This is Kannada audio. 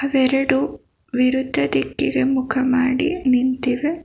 ವೆರಡು ವಿರುದ್ಧ ದಿಕ್ಕಿಗೆ ಮುಖ ಮಾಡಿ ನಿಂತಿವೆ.